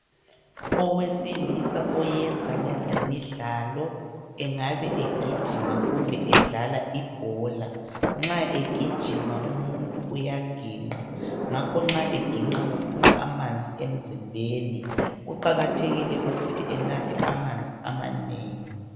Owesilisa oyenza ngezemidlalo, engabe egijima kumbe edlala ibhola. Nxa egijima umuntu uyaginqa, ngakho nxa eginqa kuphuma amanzi emzimbeni. Kuqakathekile ukuthi enathe amanzi amanengi.